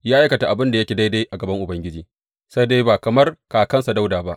Ya aikata abin da yake daidai a gaban Ubangiji, sai dai ba kamar kakansa Dawuda ba.